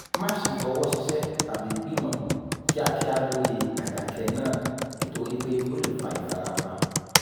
má ṣe fọwọ́ ṣíṣe tàbí gbìmọ̀ kíákíá lórí àdàkẹ náà nítorí pé ó lè fa ìfarapa